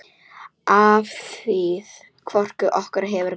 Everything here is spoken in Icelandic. Afþvíað hvorugt okkar hefur kveikt.